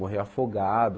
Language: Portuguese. Morreu afogado,